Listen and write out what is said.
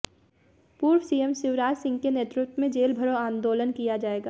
पूर्व सीएम शिवराज सिंह के नेतृत्व में जेल भरो आंदोलन किया जाएगा